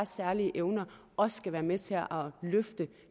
særlige evner også skal være med til at løfte